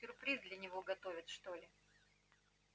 сюрприз для него готовят что ли